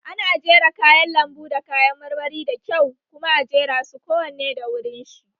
Ana jera kayan lambu da kayan marmari da kyau kuma a jera su kowane da wurin shi